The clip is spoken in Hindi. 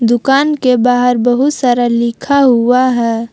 दुकान के बाहर बहुत सारा लिखा हुआ है।